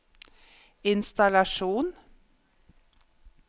innstallasjon